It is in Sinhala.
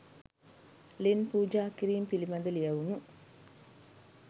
ලෙන් පූජා කිරීම පිළිබඳ ලියැවුනු